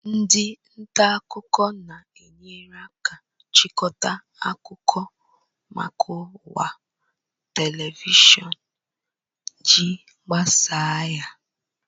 Ndị nta akụkọ na-enyere aka ịchịkọta akụkọ maka ọwa Television iji gbasaa ha